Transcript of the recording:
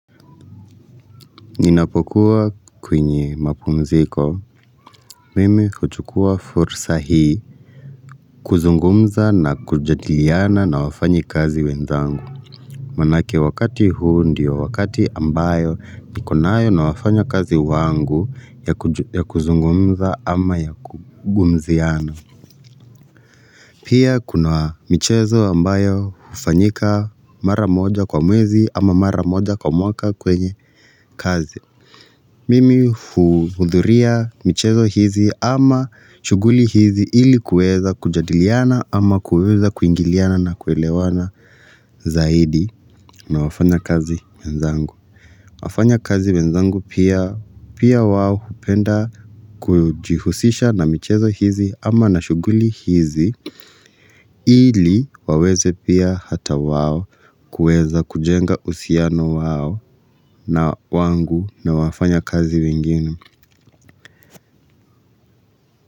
Ninapokuwa kwenye mapumziko Mimi huchukua fursa hii kuzungumza na kujadiliana na wafanyikazi wenzangu Manake wakati huu ndio wakati ambayo nikonayo na wafanyakazi wangu ya kuzungumza ama ya kugumziana Pia kuna michezo ambayo ufanyika mara moja kwa mwezi ama mara moja kwa mwaka kwenye kazi Mimi uhudhuria michezo hizi ama shuguli hizi ili kuweza kujadiliana ama kuweza kuingiliana na kuelewana zaidi na wafanyakazi wenzangu. Wafanyakazi wenzangu pia wao hupenda kujihusisha na michezo hizi ama na shuguli hizi ili waweze pia hata wawo kuweza kujenga uhusiano wao na wangu na wafanyakazi wengini.